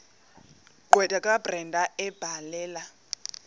gqwetha kabrenda ebhalela